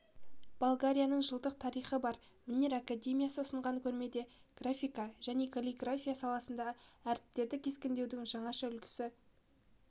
болгарияның жылдық тарихы бар өнер академиясы ұсынған көрмеде графика және каллиграфия саласындағы әріптерді кескіндеудің жаңаша үлгісі